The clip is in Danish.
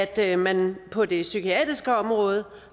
at man på det psykiatriske område